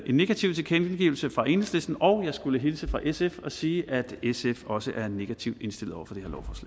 negativ tilkendegivelse fra enhedslisten og jeg skulle hilse fra sf og sige at sf også er negativt indstillet over for